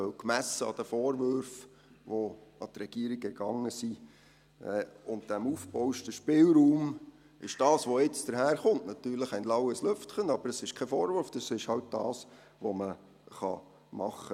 Denn gemessen an den Vorwürfen, die an die Regierung ergingen und dem aufgebauschten Spielraum, ist das, was jetzt daherkommt natürlich ein laues Lüftchen, aber es ist kein Vorwurf, es ist halt das, was man tun kann.